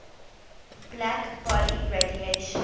black body radiation